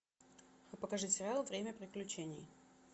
покажи сериал время приключений